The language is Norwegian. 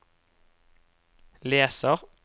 leser